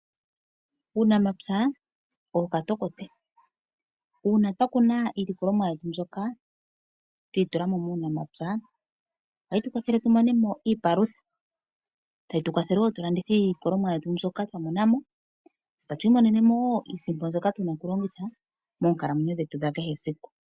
Uunamapya owo katokote . Uuna twakuna iilikolomwa yetu mbyoka twi itulamo muunamapya ohayi tukwathele tu monemo iipalutha tayi tukwathele woo tulande iilikolomwa yetu mbyoka twamonamo tatu imonenemo woo iisimpo mbyoka tuna okulongitha moonkalamwenyo dhetu dha kehe esiku.